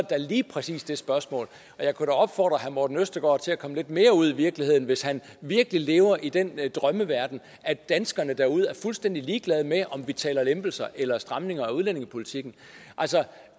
da lige præcis det spørgsmål og jeg kunne da opfordre herre morten østergaard til at komme lidt mere ud i virkeligheden hvis han virkelig lever i den drøm at danskerne derude er fuldstændig ligeglade med om vi taler lempelser eller stramninger af udlændingepolitikken altså